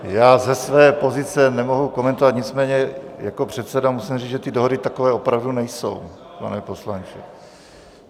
Já ze své pozice nemohu komentovat, nicméně jako předseda musím říct, že ty dohody takové opravdu nejsou, pane poslanče.